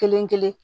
Kelen kelen